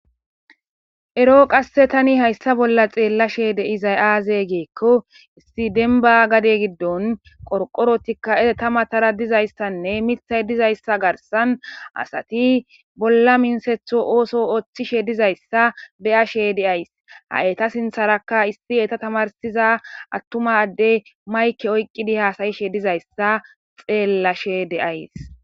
Ero qasse tani hayssa bolla xeellashe deizay aaze geekko issi denba gade giddon qorqorotikka etamatara dizayssanne mithay dizayssa garsan asati bolla minsetho ooso ooththishe dizayssa beyashe deays ha'eta sintharakka issi eta tamarsiza attumadde mayke oyqqidi haasayishe dizayssa xeellashe deays.